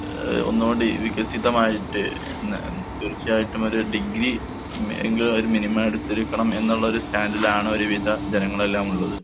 ഏഹ് ഒന്നുകൂടി വികസിതമായിട്ട് ഇന്ന് തീർച്ചയായിട്ടും ഒര് ഡിഗ്രി മി എങ്കിലും ഒര് മിനിമം എടുത്തിരിക്കണം എന്നുള്ളൊരു സ്റ്റാൻഡിലാണൊരു വിധ ജനങ്ങളെല്ലാമുള്ളത്.